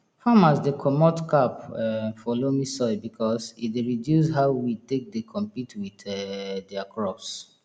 farmers dey comot cap um for loamy soil because e dey reduce how weed take dey compete with um dia crops